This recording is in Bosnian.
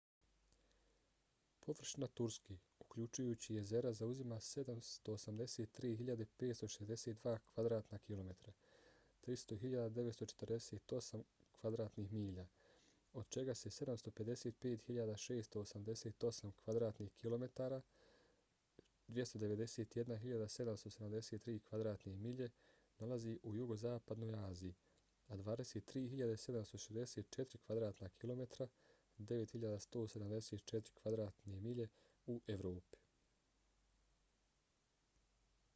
površina turske uključujući jezera zauzima 783.562 kvadratna kilometra 300.948 kv. mi. od čega se 755.688 kvadratnih kilometara 291.773 kv. mi. nalazi u jugozapadnoj aziji a 23.764 kvadratnih kilometara 9.174 kv. mi. u evropi